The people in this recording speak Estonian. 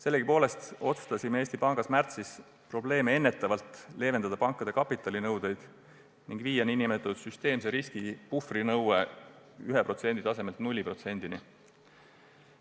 Sellegipoolest otsustasime märtsis Eesti Pangas probleeme ennetavalt pankade kapitalinõudeid leevendada ning viia süsteemse riskipuhvri nõude 1%-lt 0%-ni.